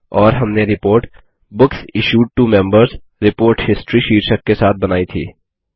और हमने report books issued to Members report history शीर्षक के साथ बनाई थी